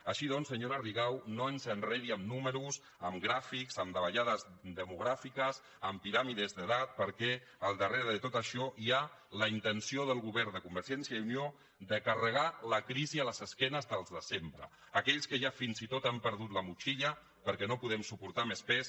així doncs senyora rigau no ens enredi amb números amb gràfics amb davallades demogràfiques amb piràmides d’edat perquè al darrere de tot això hi ha la intenció del govern de convergència i unió de carregar la crisi a les esquenes dels de sempre aquells que ja fins i tot hem perdut la motxilla perquè no podem suportar més pes